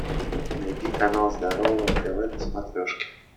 найди канал здоровое тв на смотрешке